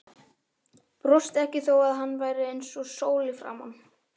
Brosti ekki þó að hann væri eins og sól í framan.